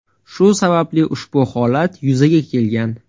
Shu sababli ushbu holat yuzaga kelgan.